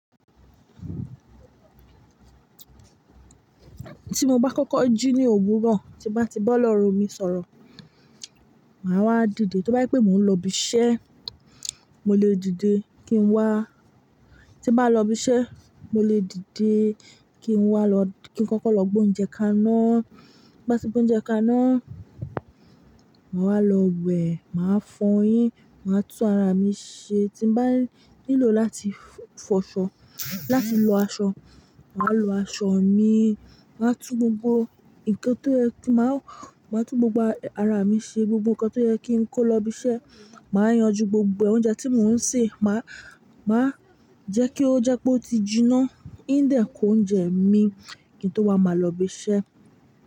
Tí mo bá kọ́kọ́ jí ní òwúrọ̀, tí bá ti bọ́ lọ̀rọ̀ mi sọ̀rọ̀, màá wá dìde. T ó bá ẹ pé mò ń lọ ibi iṣẹ́, mo lè dìde kí n wá. Tí n bá lọ ibi iṣẹ́, mo lè dìde kí n wá lọ-- kí n kọ́kọ́ lọ gbé oúnjẹ kaná. Bá ti gbá oúnjẹ kaná, màá wá lọ wẹ̀, màá fọyín, màá tún ara mi ṣe. Tí n bá nílò láti fọṣọ, láti lọ aṣọ, màá lọ aṣọ mi, màá tú gbogbo ǹkan tó yẹ kí màá, màá tú gbogbo ara mi ṣe, gbogbo ǹkan tó yẹ kí n kó lọ ibi iṣẹ́. Màá yanjú gbogbo oúnjẹ tí mò ń sè, màá, màá jẹ́ kí ó jẹ́ pé ó ti jiná. Ìn dẹ̀ ko oúnjẹ mi kí n tó wá máa lọ ibi iṣẹ́.